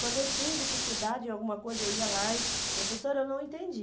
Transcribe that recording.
Quando eu tinha dificuldade em alguma coisa, eu ia lá e... Professora, eu não entendi.